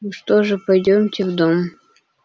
ну что же пойдёмте в дом